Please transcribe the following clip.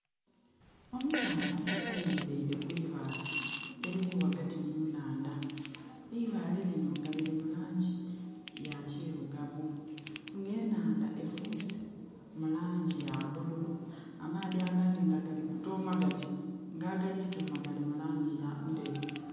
Omusaadha ayemeleire ku ibaale eliri ghagati mu nhandha. E ibaale linho nga liri mu langi ya kirugavu. Ng'enandha efuuse mu langi ya bululu, amaadhi agandhi nga gali kutuuma gati, nga agali tuuma gali mu langi ndheru